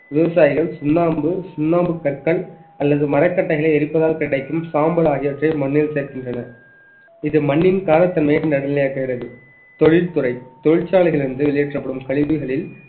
விவசாயிகள் சுண்ணாம்பு சுண்ணாம்பு கற்கள் அல்லது மரக்கட்டைகளை எரிப்பதால் கிடைக்கும் சாம்பல் ஆகியவற்றை மண்ணில் சேர்க்கின்றனர் இது மண்ணின் காரத்தன்மையை நடுநிலையாக்குகிறது தொழில்துறை தொழிற்சாலைகளில் இருந்து வெளியேற்றப்படும் கழிவுகளில்